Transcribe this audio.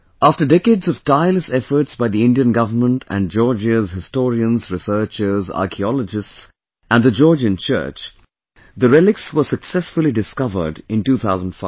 After decades of tireless efforts by the Indian government and Georgia's historians, researchers, archaeologists and the Georgian Church, the relics were successfully discovered in 2005